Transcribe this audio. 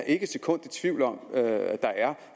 ikke et sekund i tvivl om at der er